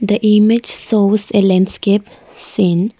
the image shows a landscape scene.